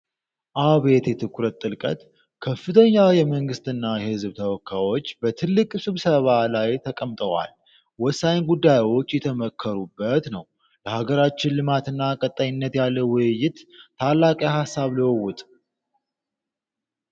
አቤት የትኩረት ጥልቀት! ከፍተኛ የመንግስትና የሕዝብ ተወካዮች በትልቅ ስብሰባ ላይ ተቀምጠዋል! ወሳኝ ጉዳዮች እየተመከሩበት ነው! ለሀገር ልማት እና ቀጣይነት ያለው ውይይት! ታላቅ የሃሳብ ልውውጥ!